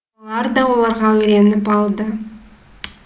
олар да оған үйреніп алды